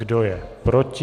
Kdo je proti?